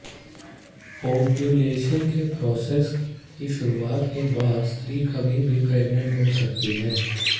ovulation के process की शुरुआत के बाद स्त्री कभी भी प्रेग्नेंट हो सकती है